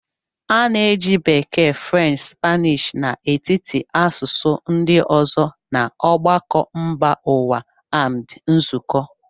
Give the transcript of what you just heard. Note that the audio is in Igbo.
A na-eji Bekee, French, Spanish n'etiti asụsụ ndị ọzọ na ọgbakọ mba ụwa amd nzukọ.